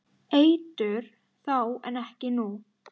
Eitur þá en ekki nú?